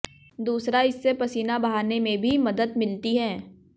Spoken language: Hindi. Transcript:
दूसरा इससे पसीना बहाने में भी मदद मिलती है